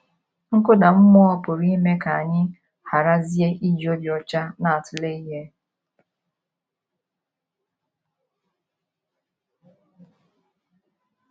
Nkụda mmụọ pụrụ ime ka anyị gharazie iji obi ọcha na - atụle ihe.